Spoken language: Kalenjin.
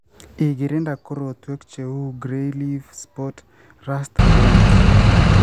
igirinda korotwek che uu grey leaf spot, rust, blight.